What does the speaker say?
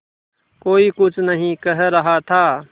कोई कुछ नहीं कह रहा था